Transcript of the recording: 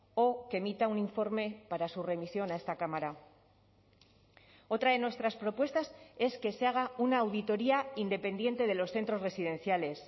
o que emita un informe para su remisión a esta cámara otra de nuestras propuestas es que se haga una auditoría independiente de los centros residenciales